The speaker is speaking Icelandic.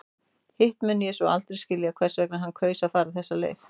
Hitt mun ég svo aldrei skilja hvers vegna hann kaus að fara þessa leið.